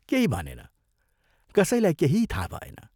केही भनेन, कसैलाई केही थाहा भएन।